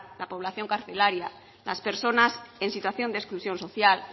la población carcelaria las personas en situación de exclusión social